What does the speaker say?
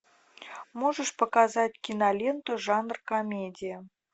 можешь показать киноленту жанр комедия